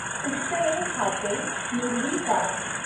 उष्टएा हाते नुडवी काग।